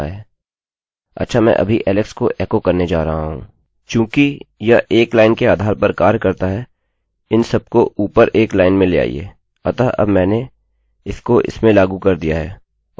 चूँकि यह एक लाइन के आधार पर कार्य करता है इन सबको ऊपर एक लाइन में ले आइये अतः अब मैंने इसको इसमें लागू कर दिया है और लागू करना पूर्ण हुआ है